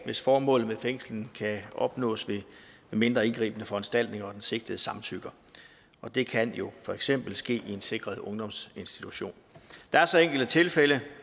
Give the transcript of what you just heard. hvis formålet med fængslingen kan opnås ved mindre indgribende foranstaltninger og den sigtede samtykker det kan jo for eksempel ske i en sikret ungdomsinstitution der er så enkelte tilfælde